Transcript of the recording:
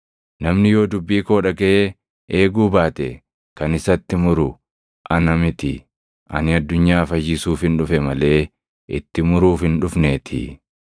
“Namni yoo dubbii koo dhagaʼee eeguu baate kan isatti muru ana miti; ani addunyaa fayyisuufin dhufe malee itti muruuf hin dhufneetii.